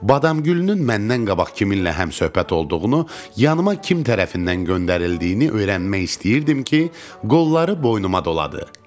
Badamgülünün məndən qabaq kiminlə həmsöhbət olduğunu, yanıma kim tərəfindən göndərildiyini öyrənmək istəyirdim ki, qolları boynuma doladı.